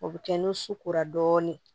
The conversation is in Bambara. O bɛ kɛ nun ko la dɔɔnin